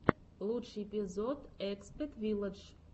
лучший эпизод экспет вилладж